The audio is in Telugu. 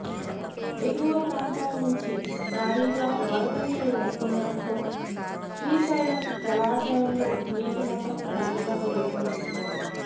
ఎగువ ప్రాంతాల నుంచి భారీగా వరద నీరు వస్తుండటంతో శ్రీశైలం జలాశయంలో నీటిమట్టం క్రమంగా పెరుగుతోంది